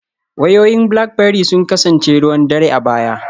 Wayoyin Blackberry sun kasance ruwan dare a baya